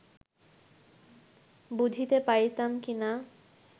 বুঝিতে পারিতাম কি না